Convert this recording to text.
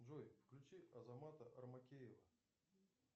джой включи азамата армакеева